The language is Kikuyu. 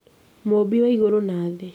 Mũmbi wa igũrũ na thĩ